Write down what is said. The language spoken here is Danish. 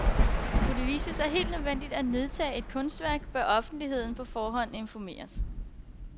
Skulle det vise sig helt nødvendigt at nedtage et kunstværk, bør offentligheden på forhånd informeres.